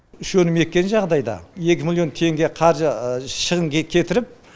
үш өнім еккен жағдайда екі миллион теңге қаржы шығын кетіріп